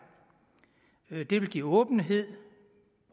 det vil give åbenhed